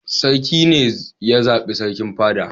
Sarki ne ya zaɓi sarkin fada.